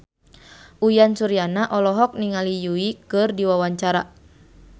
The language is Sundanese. Uyan Suryana olohok ningali Yui keur diwawancara